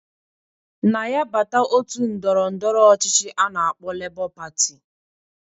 Na ya bata otu ndọrọ ndọrọ ọchịchị a na-akpọ Lebọ Patị